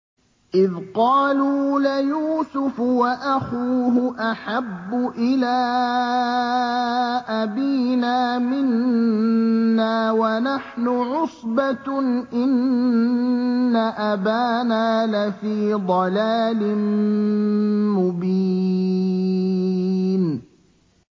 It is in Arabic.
إِذْ قَالُوا لَيُوسُفُ وَأَخُوهُ أَحَبُّ إِلَىٰ أَبِينَا مِنَّا وَنَحْنُ عُصْبَةٌ إِنَّ أَبَانَا لَفِي ضَلَالٍ مُّبِينٍ